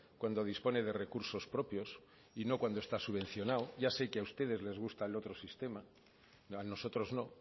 cuando dispone de recursos propios y no cuando está subvencionado ya sé que a ustedes les gusta el otro sistema a nosotros no